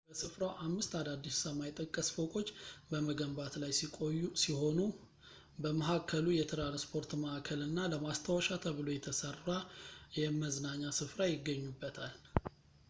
በስፍራው አምስት አዳዲስ ሰማይ ጠቀስ ፎቆች በመገንባት ላይ ሲሆኑ በመሀከሉ የትራንስፖርት ማዕከል እና ለማስታወሻ ተብሎ የተሰራ የመዝናኛ ስፍራ ይገኙበታል